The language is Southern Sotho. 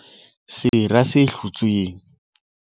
Sera se hlotsweng.